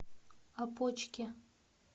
опочке